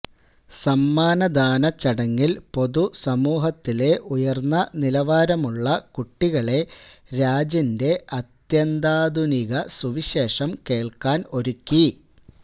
സമ്മാനദാന ചടങ്ങില് പൊതുസമൂഹത്തിലെ ഉയര്ന്ന നിലവാരമുള്ള കുട്ടികളെ രാജിന്റെ അത്യന്താധുനിക സുവിശേഷം കേള്ക്കാന് ഒരുക്കി